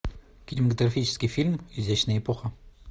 кинематографический фильм изящная эпоха